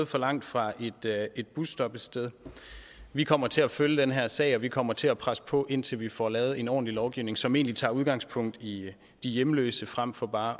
for langt fra et busstoppested vi kommer til at følge den her sag og vi kommer til at presse på indtil vi får lavet en ordentlig lovgivning som tager udgangspunkt i de hjemløse frem for bare